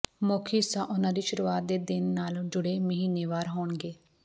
ਮੁੱਖ ਹਿੱਸਾ ਉਨ੍ਹਾਂ ਦੀ ਸ਼ੁਰੂਆਤ ਦੇ ਦਿਨ ਨਾਲ ਜੁੜੇ ਮਹੀਨੇਵਾਰ ਹੋਣਗੇ